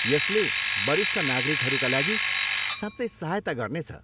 यसले वरिष्ठ नागरिकहरूका लागि साँच्चै सहायता गर्नेछ।